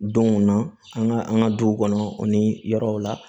Donw na an ka an ka du kɔnɔ o ni yɔrɔw la